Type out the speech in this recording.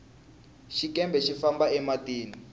xikepe xi famba e matini